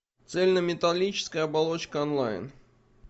цельнометаллическая оболочка онлайн